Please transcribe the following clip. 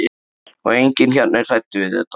Og enginn hérna er hræddur við þetta.